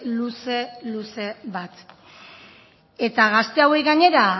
luze luze bat eta gazte hauei gainera